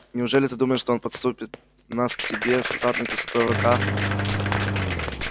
неужели ты думаешь что он подпустит нас к себе с азотной кислотой в руках